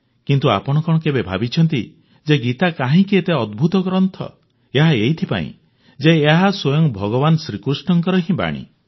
କିନ୍ତୁ ଆପଣ କଣ କେବେ ଭାବିଛନ୍ତି ଯେ ଗୀତା କାହିଁକି ଏତେ ଅଦ୍ଭୁତ ଗ୍ରନ୍ଥ ଏହା ଏଇଥିପାଇଁ ଯେ ଏହା ସ୍ୱୟଂ ଭଗବାନ ଶ୍ରୀକୃଷ୍ଣଙ୍କର ହିଁ ବାଣୀ